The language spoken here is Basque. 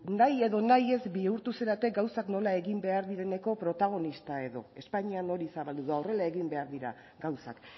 nahi edo nahi ez bihurtu zarete gauzak nola egin behar direneko protagonistak edo espainian hori zabaldu da horrela egin behar dira gauzak